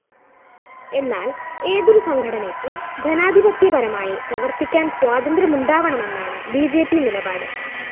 എന്നാല്‍ ഏതൊരു സംഘടനയ്ക്കും ജനാധിപത്യപരമായി പ്രവര്‍ത്തിക്കാന് സ്വാതന്ത്ര്യമുണ്ടാവണമെന്നാണ് ബി ജെ പി നിലപാട്